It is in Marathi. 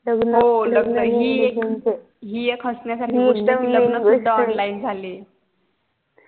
हि एक हसण्या सारखी गोष्ट लग्न पण online झाले